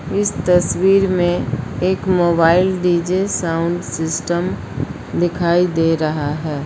इस तस्वीर में एक मोबाइल डी_जे साउंड सिस्टम दिखाई दे रहा है।